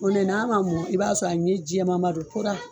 n'a man mɔn i b'a sɔrɔ a ɲɛ jɛɛman ba do